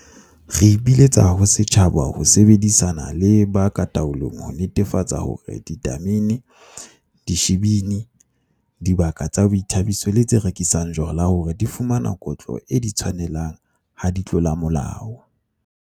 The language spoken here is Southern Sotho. Re ipiletsa ho setjhaba ho sebedisana le ba ka taolong ho netefatsa hore ditamene, dishibini, dibaka tsa boithabiso le tse rekisang jwala hore di fumana kotlo e di tshwanelang ha di tlola molao.